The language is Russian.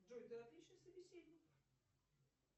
джой ты отличный собеседник